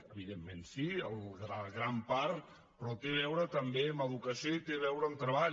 evidentment sí en gran part però té a veure també amb educació i té a veure amb treball